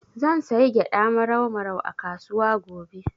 Zan sayi gyaɗa Marau Marau a kasuwa gobe.